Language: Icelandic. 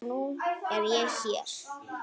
Og nú er ég hér!